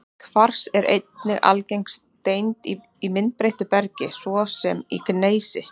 Kvars er einnig algeng steind í myndbreyttu bergi, svo sem í gneisi.